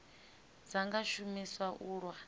dza nga shumiswa u lwa